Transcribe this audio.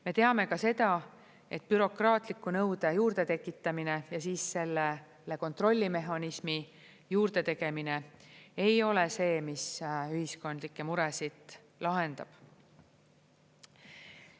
Me teame ka seda, et bürokraatliku nõude juurdetekitamine ja siis sellele kontrollimehhanismi juurde tegemine ei ole see, mis ühiskondlike muresid lahendab.